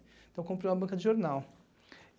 Então eu comprei uma banca de jornal.